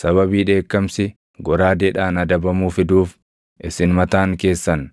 sababii dheekkamsi goraadeedhaan adabamuu fiduuf isin mataan keessan